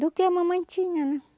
Do que a mamãe tinha, né?